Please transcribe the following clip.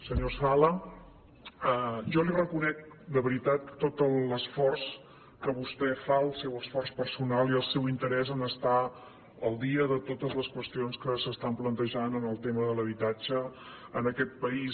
senyor sala jo li reconec de veritat tot l’esforç que vostè fa el seu esforç personal i el seu interès en el fet d’estar al dia de totes les qüestions que es plantegen en el tema de l’habitatge en aquest país